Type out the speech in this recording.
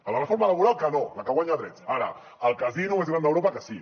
a la reforma laboral que no la que guanya drets ara al casino més gran d’europa que sí